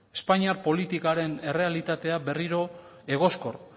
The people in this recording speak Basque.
espainiar politikaren errealitatea berriro egoskor